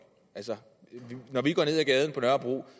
når vi går ned ad gaden på nørrebro